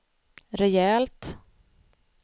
rejält